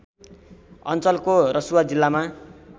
अञ्चलको रसुवा जिल्लामा